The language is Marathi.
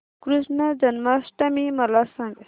कृष्ण जन्माष्टमी मला सांग